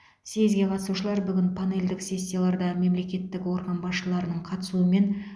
създге қатысушылар бүгін панельдік сессияларда мемлекеттік орган басшыларының қатысуымен